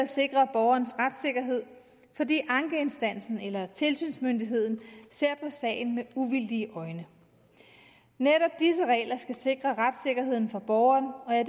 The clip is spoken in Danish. sikre borgerens retssikkerhed fordi ankeinstansen eller tilsynsmyndigheden ser på sagen med uvildige øjne netop disse regler skal sikre retssikkerheden for borgeren og jeg